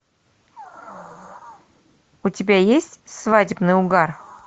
у тебя есть свадебный угар